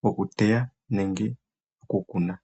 goku teya nenge goku kuna.